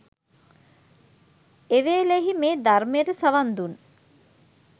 එවේලෙහි මේ ධර්මයට සවන් දුන්